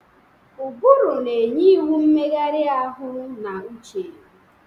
Ụbụrụ na-enye iwu mmegharị ahụ na uche.